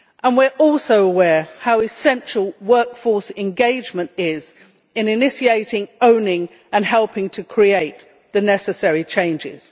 We are also aware how essential workforce engagement is in initiating, owning and helping to create the necessary changes.